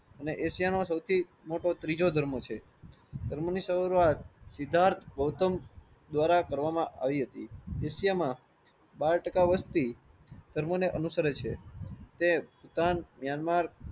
અને એશિયા નો સૌથી મોટો ત્રીજો ધર્મ છે. ધર્મો ની શરૂવાત સિદ્ધાર્થ ગૌતમ દ્વારા કરવામાં આવી હતી. એશિયા માં બાર ટાકા વસ્તી ધર્મો ને અનુસરે છે. તે કિસાન મ્યાનમાર